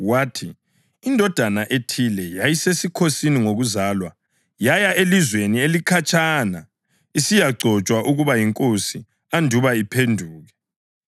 Wathi, “Indoda ethile yasesikhosini ngokuzalwa yaya elizweni elikhatshana isiyagcotshwa ukuba yinkosi andubana iphenduke.